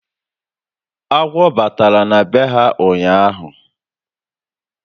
Agwọ batara na be ha ụnyaahụ